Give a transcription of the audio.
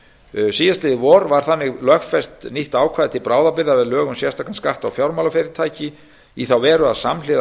síðastliðið vor var þannig lögfest nýtt ákvæði til bráðabirgða við lög um sérstakan skatt á fjármálafyrirtæki í þá veru að samhliða